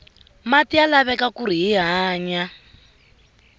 mati ya laveka kuri hi hanya